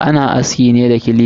Ana aski ne da clipper.